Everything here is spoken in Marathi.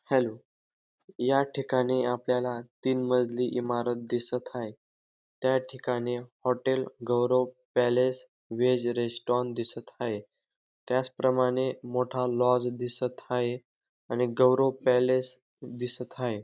हॅलो या ठिकाणी आपल्याला तीन मजली इमारत दिसत हाये त्या ठिकाणी hotel Gaurav palace veg restaurant दिसत हाये त्याचप्रमाणे मोठा लॉज दिसत हाये आणि गौरव पॅलेस दिसत हाये.